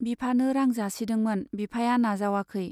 बिफानो रां जासिदोंमोन, बिफाया नाजावाखै।